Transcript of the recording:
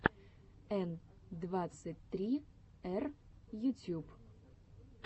н двадцать три р ютьюб